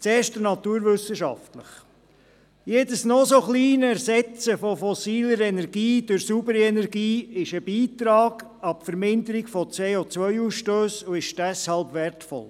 Zuerst der naturwissenschaftliche Punkt: Jedes noch so kleine Ersetzen von fossiler Energie durch saubere Energie ist ein Beitrag an die Verminderung des CO-Ausstosses und ist deshalb wertvoll.